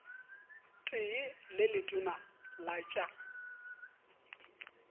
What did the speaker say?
tee le letona la tša